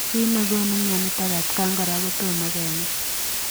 Kiit negonuu mionitok atakaan koraa kotomo kenai.